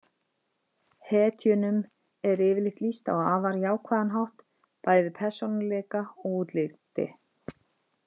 Hetjunum er yfirleitt lýst á afar jákvæðan hátt, bæði persónuleika og útliti.